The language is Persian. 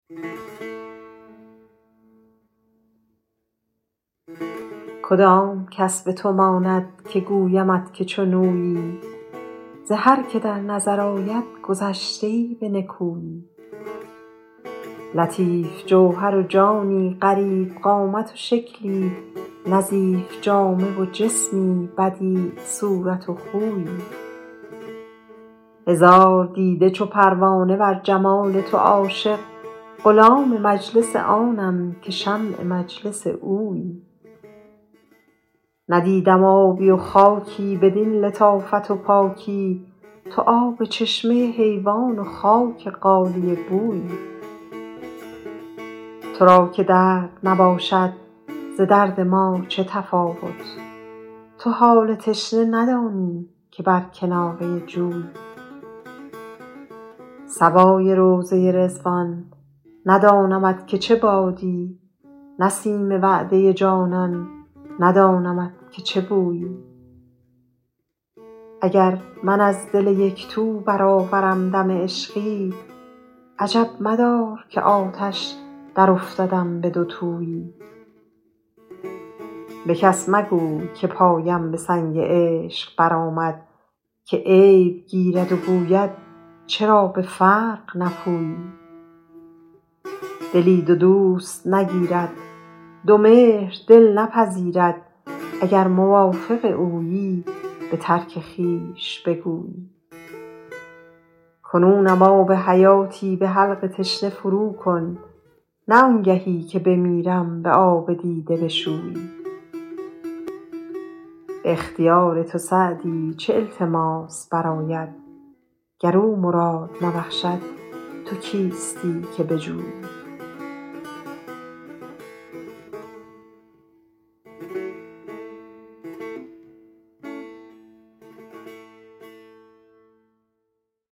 کدام کس به تو ماند که گویمت که چون اویی ز هر که در نظر آید گذشته ای به نکویی لطیف جوهر و جانی غریب قامت و شکلی نظیف جامه و جسمی بدیع صورت و خویی هزار دیده چو پروانه بر جمال تو عاشق غلام مجلس آنم که شمع مجلس اویی ندیدم آبی و خاکی بدین لطافت و پاکی تو آب چشمه حیوان و خاک غالیه بویی تو را که درد نباشد ز درد ما چه تفاوت تو حال تشنه ندانی که بر کناره جویی صبای روضه رضوان ندانمت که چه بادی نسیم وعده جانان ندانمت که چه بویی اگر من از دل یک تو برآورم دم عشقی عجب مدار که آتش درافتدم به دوتویی به کس مگوی که پایم به سنگ عشق برآمد که عیب گیرد و گوید چرا به فرق نپویی دلی دو دوست نگیرد دو مهر دل نپذیرد اگر موافق اویی به ترک خویش بگویی کنونم آب حیاتی به حلق تشنه فروکن نه آنگهی که بمیرم به آب دیده بشویی به اختیار تو سعدی چه التماس برآید گر او مراد نبخشد تو کیستی که بجویی